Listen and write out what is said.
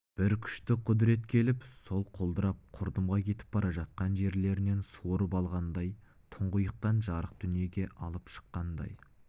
бір күшті құдірет келіп сол құлдырап құрдымға кетіп бара жатқан жерлерінен суырып алғандай тұңғиықтан жарық дүниеге алып шыққандай